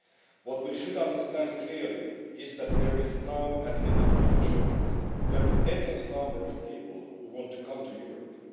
What we should understand clearly is that there is now, and in the future, an endless number of people who want to come to Europe.